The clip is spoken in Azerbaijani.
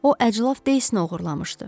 O əclaf Deysini oğurlamışdı.